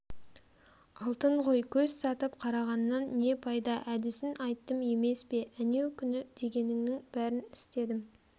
алтын ғой көз сатып қарағаннан не пайда әдісін айттым емес пе әнеукүнк дегеніңнің бәрін істедім